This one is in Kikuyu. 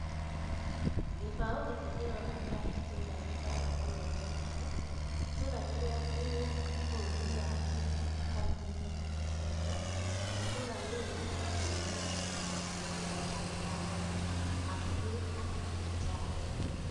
Gĩbaũ gĩkĩ kĩronania itũũra rĩtagwo Oloitoktok, itũũra rĩrĩa rĩ bũrũri-inĩ wa Kenya, kauntĩ-inĩ ya Kajiado na itũũra rĩrĩ rĩhakanĩtie na bũrũri wa Tanzania hakuhĩ na Kĩrĩmanjaro.